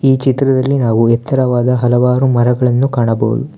ಈ ಚಿತ್ರದಲ್ಲಿ ನಾವು ಎಚ್ಚರವಾದ ಹಲವಾರು ಮರಗಳನ್ನು ಕಾಣಬಹುದು.